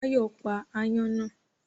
Báyọ̀ pa aáyán náà